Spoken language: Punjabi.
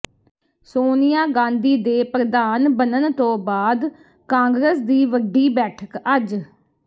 ਸੋਨੀਆ ਗਾਂਧੀ ਦੇ ਪ੍ਰਧਾਨ ਬਣਨ ਤੋਂ ਬਾਅਦ ਕਾਂਗਰਸ ਦੀ ਵੱਡੀ ਬੈਠਕ ਅੱਜ